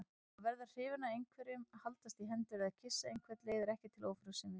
Að verða hrifinn af einhverjum, haldast í hendur eða kyssa einhvern leiðir ekki til ófrjósemi.